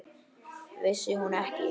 Vissi hún ekki?